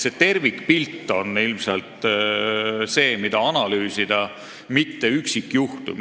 See tervikpilt on ilmselt see, mida analüüsida, mitte üksikjuhtum.